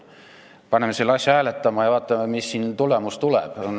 Paneme selle asja hääletusele ja vaatame, milline tulemus tuleb.